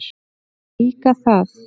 Líka það.